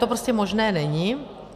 To prostě možné není.